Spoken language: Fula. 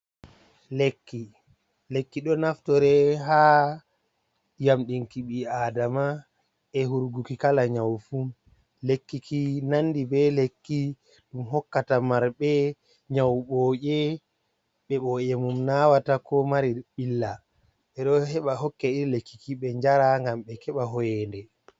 Lekki ɗo naftore ha yamɗinki ɓii aadama e hurguki kala nyau fu, lekkiki nandi be lekki ɗum hokkata marɓe nyau boje beboje mum nawata ko mari ɓilla e ɗo heɓa hokke iri lekkiki ɓe njara ngam ɓe keɓa hoyende.